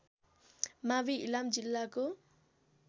मावि इलाम जिल्लाको